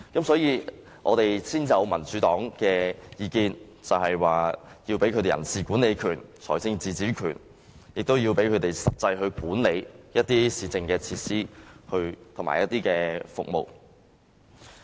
所以，民主黨才提出意見，要給予區議員人事管理權、財政自主權，以及讓他們實際地管理市政設施和服務。